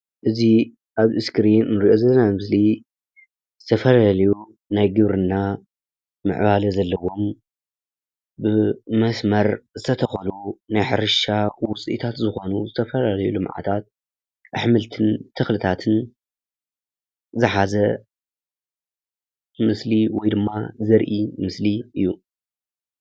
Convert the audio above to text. እዚ ኣብ እስክሪን እንሪኦ ዘለና ምስሊ ዝተፈላለዩ ናይ ዱር እና ምዕባለ ዘለዎም ብመስመር ዝተተኸሉ ናይ ሕርሻ ዉፅኢታት ዝኾኑ ዝተፈላለዩ ልምዓታት ኣሕምልትን ተኽልታትን ዝሓዘ ምስሊ ወይ ድማ ዘርኢ ምስሊ እዩ።